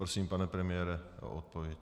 Prosím, pane premiére, o odpověď.